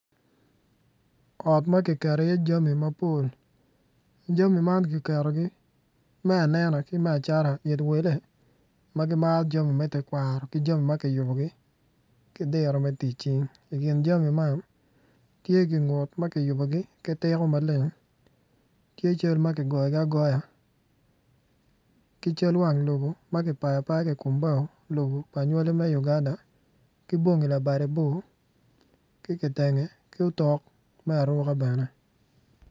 Ot ma kiketo iye jami mapol jami man kiketogi me anena ki me acata pi wele ma gimaro jami me tekwaro ki jami ma kiyubogi ki diro me tic cing i kin jami man, tye gingut ma kiyubogi ki tiko maleng tye cal ma kigoyogi agoya ki cal wang lobo ma kipayogi apaya I kom bao lobo anywali me Uganda ki bongi labade bor ki kitenge ki otok me aruka bene.